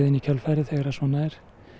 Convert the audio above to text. í kjölfarið þegar svona er